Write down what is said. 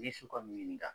N'i su ka min ka